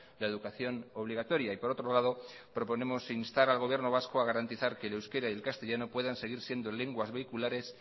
la educación obligatoria y por otro lado proponemos instar al gobierno vasco a garantizar que el euskera y el castellano puedan seguir siendo lenguas vehiculares